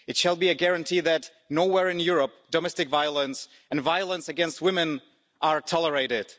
It shall be a guarantee that, nowhere in Europe, domestic violence and violence against women are tolerated.